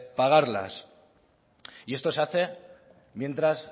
pagarlas y esto se hace mientras